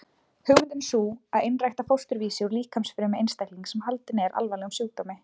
Hugmyndin er sú að einrækta fósturvísi úr líkamsfrumu einstaklings sem haldinn er alvarlegum sjúkdómi.